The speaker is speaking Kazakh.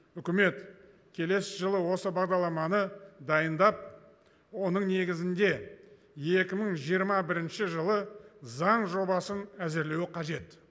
үкімет келесі жылы осы бағдарламаны дайындап оның негізінде екі мың жиырма бірінші жылы заң жобасын әзірлеуі қажет